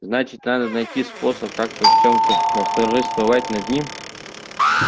значит надо найти способ как-то в чём-то восторжествовать над ним